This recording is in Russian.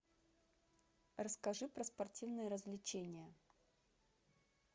расскажи про спортивные развлечения